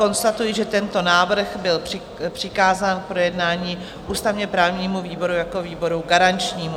Konstatuji, že tento návrh byl přikázán k projednání ústavně-právnímu výboru jako výboru garančnímu.